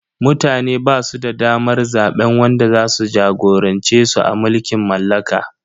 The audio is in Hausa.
Mutane basu da damar zaben wanda zasu jagorance su a mulkin mallaka.